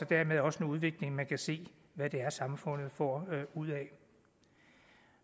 dermed også en udvikling man kan se hvad samfundet får ud af